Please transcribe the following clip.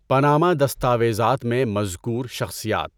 Panama دستاویزات میں مذکور شخصیات